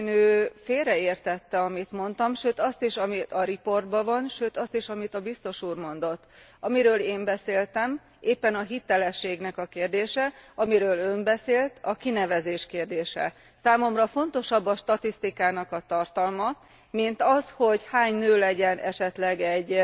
Valószínű, hogy félreértette, amit mondtam, sőt azt is, ami a jelentésben van, sőt azt is, amit a biztos úr mondott. Amiről én beszéltem, éppen a hitelességnek a kérdése, amiről Ön beszélt, a kinevezés kérdése. Számomra fontosabb a statisztikák tartalma, mint az, hogy hány nő legyen esetleg egy